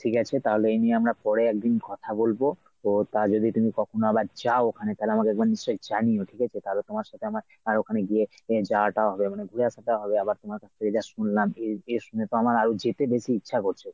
ঠিক আছে তাহলে এ নিয়ে আমরা পরে একদিন কথা বলবো ও তা যদি তুমি কখনো আবার যাও ওখানে তাহলে আমাকে একবার নিশ্চয়ই জানিয়ো ঠিকাছে তাহলে তোমার আমার আর ওখানে গিয়ে এর যাওয়া টাওয়া হবে মানে ঘুরে আসাটা হবে আবার তোমার এ যা শুনলাম এ এ শুনে তো আমার আরো যেতে বেশি ইচ্ছা করছে।